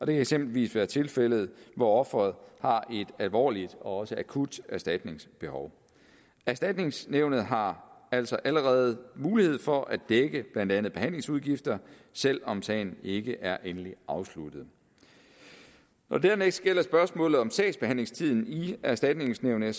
kan eksempelvis være tilfældet hvor offeret har et alvorligt og også akut erstatningsbehov erstatningsnævnet har altså allerede mulighed for at dække blandt andet behandlingsudgifter selv om sagen ikke er endeligt afsluttet når det dernæst gælder spørgsmålet om sagsbehandlingstiden i erstatningsnævnet